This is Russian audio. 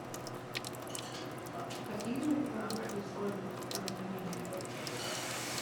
какие морепродукты используются в кулинарии